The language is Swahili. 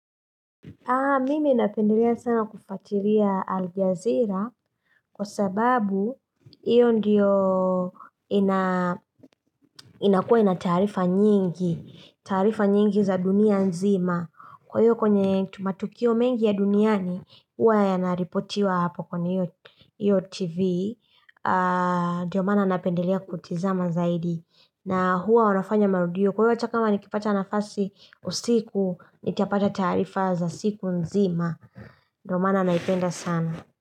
Mimi napendelea sana kufatiria Al-Gazira kwa sababu hiyo ndiyo inakua ina taarifa nyingi, taarifa nyingi za dunia nzima. Kwa hiyo kwenye tu matukio mengi ya duniani, huwa yanaripotiwa hapo kwenye hiyo TV, ndiyo maana napendelea kutizama zaidi. Na huwa wanafanya marudio kwa hiyo hata kama nikipata nafasi usiku nitapata taarifa za siku nzima. Ndo maana naipenda sana.